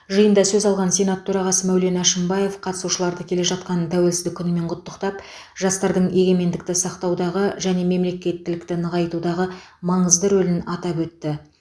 жиында сөз алған сенат төрағасы мәулен әшімбаев қатысушыларды келе жатқан тәуелсіздік күнімен құттықтап жастардың егемендікті сақтаудағы және мемлекеттілікті нығайтудағы маңызды рөлін атап өтті